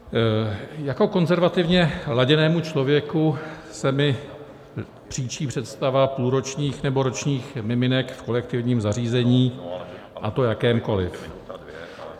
Jako konzervativně laděnému člověku se mi příčí představa půlročních nebo ročních miminek v kolektivním zařízení, a to jakémkoliv.